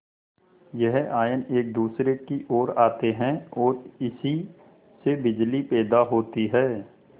यह आयन एक दूसरे की ओर आते हैं ओर इसी से बिजली पैदा होती है